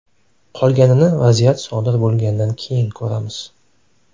Qolganini vaziyat sodir bo‘lgandan keyin ko‘ramiz.